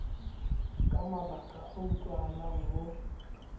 ka mabaka a utlwahalang ho